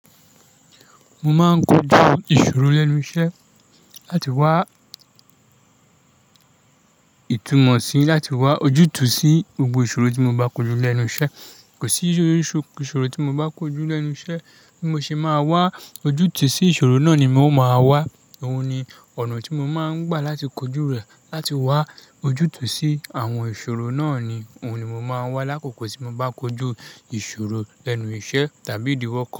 Mo máa ń kojú ìṣòro lẹ́nu iṣẹ́ láti wá ìtumò síi, láti wá ojútùú sí gbogbo ìṣòro tí mo bá kojú lẹ́nu iṣẹ́. Kò sí orísirísi ìṣòro tí mo bá kojú lẹ́nu iṣẹ́ tí mo ṣe máa wá ojútùú sí ìṣòro náà ni mo máa wá. Òun ni ọ̀nà tí mo máa ń gbà láti kojú rẹ̀ láti wá ojútùú sí àwọn ìṣòro náà ni, òun ni mo máa wá lákòókò tí mo bá kojú ìṣòro lẹ́nu iṣẹ́ tàbí ìdíwọ́.